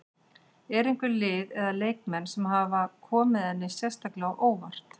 Eru einhver lið eða leikmenn sem hafa komið henni sérstaklega á óvart?